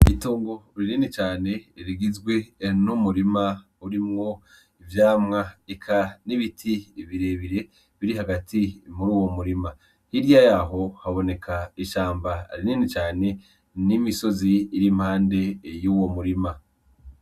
Ritongo uri nini cane rigizwi ehn umurima urimwo ivyamwa eka n'ibiti birebire biri hagati impume uwo murima hirya yaho haboneka ishamba ari nini cane n'imisozi irimpande y'uwo murima.